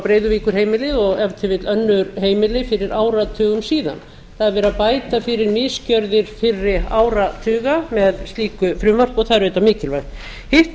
breiðavíkurheimilið og ef til vill önnur heimili fyrir áratugum síðan það er verið að bæta fyrir misgjörðir fyrri áratuga með slíku frumvarpi og það er auðvitað mikilvægt hitt